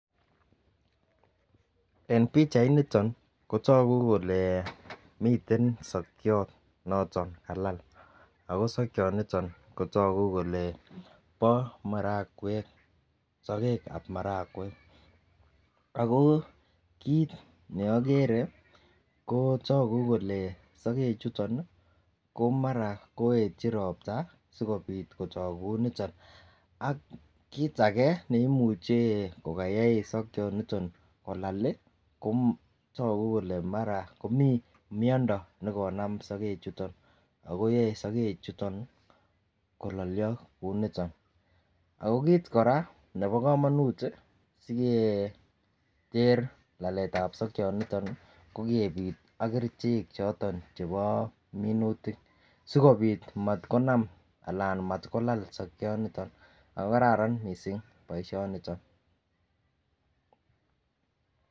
En pichait niton kotogu kole miten sokiot noton kalal ago sokiot niton kotogu kole bo marakwek, sogek ab marakwek ako kit neokere ko togu kole sogek chuton ih ko mara koetyi ropta sikobit kotok kouniton ak kit age neimuche kokoyoe sokioniton kolal ih kotogu kole mara komii miondo nekonam sogek chuton ako yoe sogek chuton kololio kouniton ako kit kora nebo komonut siketer lalet ab sokiot niton ih ko kebit ak kerichek choton chebo minutik sikobit matkonam anan matkolal sokioniton ako koraran missing boisioniton